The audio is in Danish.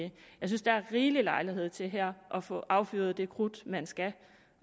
det jeg synes der er rigelig lejlighed til her at få affyret det krudt man skal